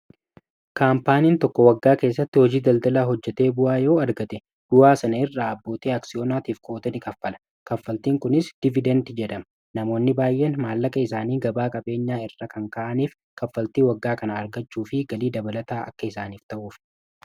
kaampaaniin tokko waggaa keessatti hojii daldalaa hojjatee bu'aa yoo argate du'aa sana irraa abbootii aksiyoonaatiif kootani kaffala kaffaltiin kunis dividenti jedhama namoonni baay'een maallaka isaanii gabaa qabeenyaa irraa kan ka'aniif kaffaltii waggaa kan argachuu fi galii dabalataa akka isaaniif ta'uuf